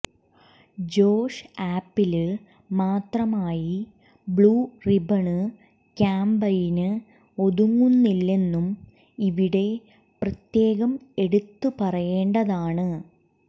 Josh ആപ്പില് മാത്രമായി blue ribbon campaign ഒതുങ്ങുന്നില്ലെന്നും ഇവിടെ പ്രത്യേകം എടുത്ത് പറയേണ്ടതാണ്